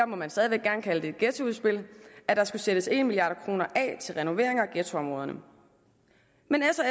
må man stadig væk gerne kalde det et ghettoudspil at der skulle sættes en milliard kroner af til renoveringer af ghettoområderne men